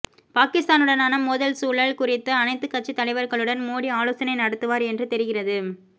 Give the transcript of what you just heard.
பாகிஸ்தானுடனான மோதல் சூழல் குறித்து அனைத்துக் கட்சித் தலைவர்களுடன் மோடி ஆலோசனை நடத்துவார் என்று தெரிகிறது